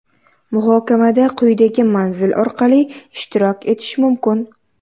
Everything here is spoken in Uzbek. Muhokamada quyidagi manzil orqali ishtirok etish mumkin.